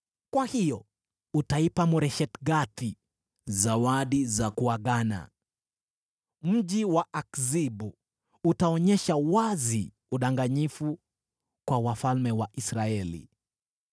Kwa hiyo utaipa Moresheth-Gathi zawadi za kuagana. Mji wa Akzibu utaonyesha wazi udanganyifu kwa wafalme wa Israeli.